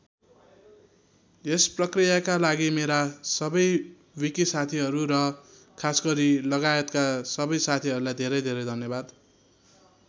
यस प्रकृयाका लागि मेरा सबै विकि साथीहरू र खासगरी लगायतका सबै साथीहरूलाई धेरै धेरै धन्यवाद।